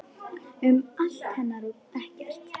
Um allt hennar og ekkert.